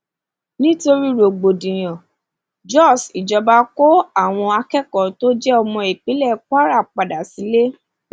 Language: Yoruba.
nítorí rògbòdìyàn jós ìjọba kó àwọn akẹkọọ tó jẹ ọmọ ìpínlẹ kwara padà sílé